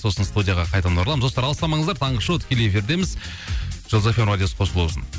сосын студияға қайтадан ораламыз достар алыстамаңыздар таңғы шоу тікелей эфирдеміз жұлдыз фм радиосы қосулы болсын